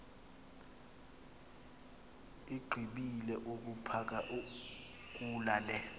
igqibile ukuphakula le